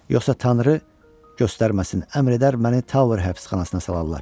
Yoxsa tanrı göstərməsin, əmr edər məni Tower həbsxanasına salarlar.